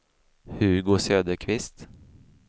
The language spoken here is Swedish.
Hugo Söderqvist